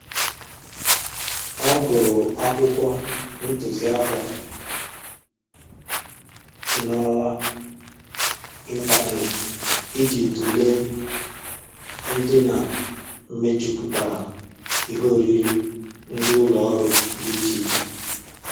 Ọ gụrụ akwụkwọ ntụziaka n'ọwa ịntaneetị iji tụlee ndịna mejupụtara ihe oriri ndị ụlọ ọrụ dị iche iche